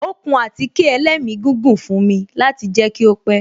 Ó kun àtíkè ẹlẹ́migígùn fún mi láti jẹ kí ó pẹ́